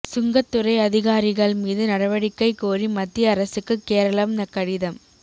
சுங்கத் துறை அதிகாரிகள் மீது நடவடிக்கை கோரி மத்திய அரசுக்கு கேரளம் கடிதம்